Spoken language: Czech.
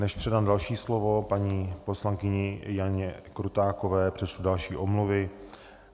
Než předám další slovo paní poslankyni Janě Krutákové, přečtu další omluvy.